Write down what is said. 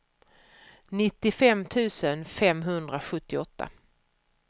nittiofem tusen femhundrasjuttioåtta